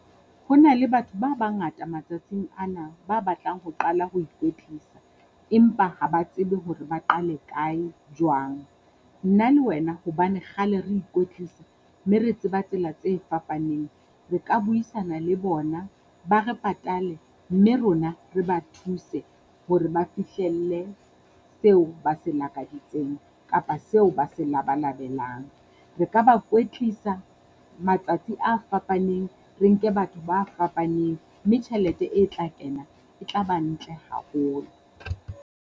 Ho na le batho ba bangata matsatsing ana ba batlang ho qala ho ikwetsisa, empa ha ba tsebe hore ba qale kae, jwang. Nna le wena hobane kgale re ikwetlisa mme re tseba tsela tse fapaneng, Re ka buisana le bona ba re patale. Mme rona re ba thuse hore ba fihlelle seo ba se lakaditseng kapa seo ba se labalabelang. Re ka ba kwetlisa matsatsi a fapaneng re nke batho ba fapaneng mme tjhelete e tla kena e tla ba ntle haholo.